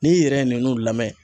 N'i yɛrɛ ye nunnu lamɛn